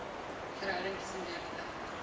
verhouding tussen lewende